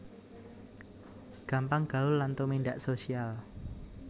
Gampang gaul lan tumindak social